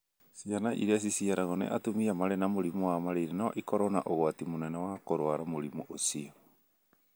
Ciana iria ciciarũo nĩ atumia marĩ na mũrimũ wa malaria no ikorũo na ũgwati mũnene wa kũrũara mũrimũ ũcio.